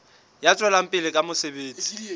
ya tswelang pele ka mosebetsi